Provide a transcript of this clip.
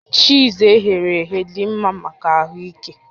Chiiz eghere eghe dị mma maka ahụ ike